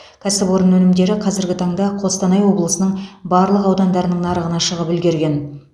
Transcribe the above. кәсіпорын өнімдері қазіргі таңда қостанай облысының барлық аудандарының нарығына шығып үлгерген